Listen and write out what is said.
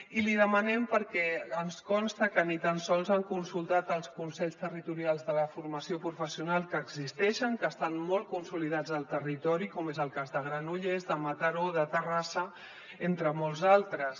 i li demanem perquè ens consta que ni tan sols han consultat els consells territorials de la formació professional que existeixen que estan molt consolidats al territori com és el cas de granollers de mataró de terrassa entre molts altres